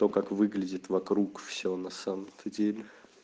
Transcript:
то как выглядит вокруг всё на самом то деле